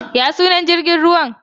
Ya sunan jrigin ruwan?